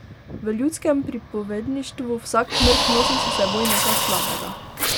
V ljudskem pripovedništvu vsak mrk nosi s seboj nekaj slabega.